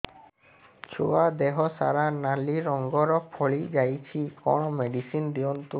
ଛୁଆ ଦେହ ସାରା ନାଲି ରଙ୍ଗର ଫଳି ଯାଇଛି କଣ ମେଡିସିନ ଦିଅନ୍ତୁ